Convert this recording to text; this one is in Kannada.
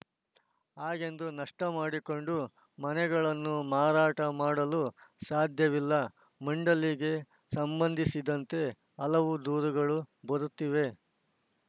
ಹಾಗೆಂದು ನಷ್ಟಮಾಡಿಕೊಂಡು ಮನೆಗಳನ್ನು ಮಾರಾಟ ಮಾಡಲೂ ಸಾಧ್ಯವಿಲ್ಲ ಮಂಡಳಿಗೆ ಸಂಬಂಧಿಸಿದಂತೆ ಹಲವು ದೂರುಗಳು ಬರುತ್ತಿವೆ